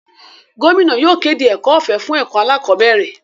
Gómìnà yóò kéde ẹ̀kọ́ ọ̀fẹ́ fún ẹ̀kọ́ alákọ̀bẹ́ẹ́rẹ̀.